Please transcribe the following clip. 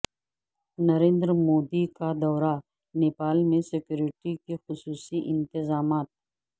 نریندر مودی کا دورہ نیپال میں سیکوریٹی کے خصوصی انتظامات